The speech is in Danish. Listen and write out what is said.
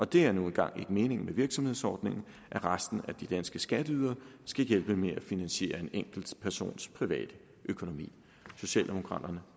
det er nu en gang ikke meningen med virksomhedsordningen at resten af de danske skatteydere skal hjælpe med at finansiere en enkelt persons private økonomi socialdemokraterne